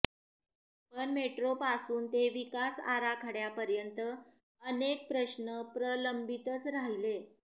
पण मेट्रोपासून ते विकास आराखड्यापर्यंत अनेक प्रश्न प्रलंबितच राहिले